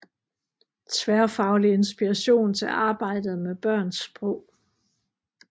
Tværfaglig inspiration til arbejdet med børns sprog